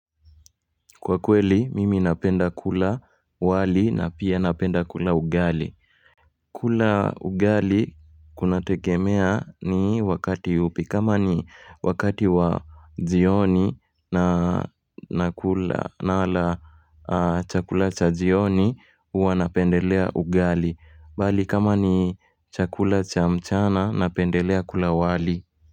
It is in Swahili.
Kwa kweli, mimi napenda kula wali na pia napenda kula ugali. Kula ugali kunategemea ni wakati upi. Kama ni wakati wa jioni na chakula cha jioni, huwa napendelea ugali. Bali kama ni chakula cha mchana, napendelea kula wali.